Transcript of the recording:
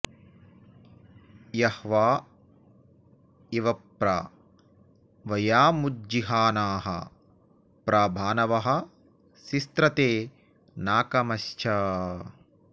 य॒ह्वा इ॑व॒ प्र व॒यामु॒ज्जिहा॑नाः॒ प्र भा॒नवः॑ सिस्रते॒ नाक॒मच्छ॑